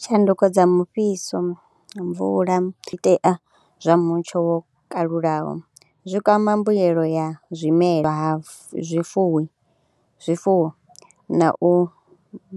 Tshanduko dza mufhiso, mvula zwiitea zwa mutsho wo kalulaho zwi kwama mbuyelo ya zwimela, zwifuwi zwifuwo na u